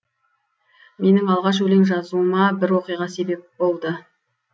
менің алғаш өлең жазуыма бір оқиға себеп болды